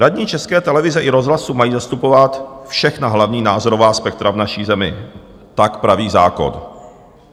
Radní České televize i rozhlasu mají zastupovat všechna hlavní názorová spektra v naší zemi, tak praví zákon.